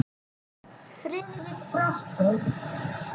Friðrik brosti.